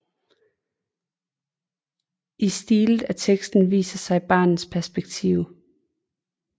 I stilet af teksten viser sig barnets perspektive